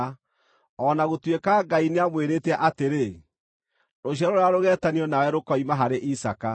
o na gũtuĩka Ngai nĩamwĩrĩte atĩrĩ, “Rũciaro rũrĩa rũgeetanio nawe rũkoima harĩ Isaaka.”